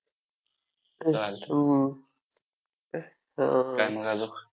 चालतंय काय मग अजून?